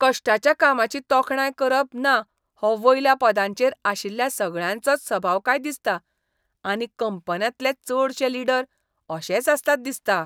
कश्टाच्या कामाची तोखणाय करप ना हो वयल्या पदांचेर आशिल्ल्या सगळ्यांचोच सभाव काय दिसता आनी कंपन्यांतले चडशे लीडर अशेच आसतात दिसता.